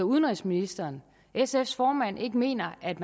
udenrigsministeren sfs formand ikke mener at